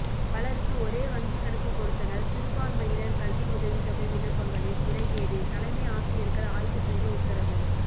பலருக்கு ஒரே வங்கி கணக்கு கொடுத்தனர் சிறுபான்மையினர் கல்வி உதவித்தொகை விண்ணப்பங்களில் முறைகேடு தலைமை ஆசிரியர்கள் ஆய்வு செய்ய உத்தரவு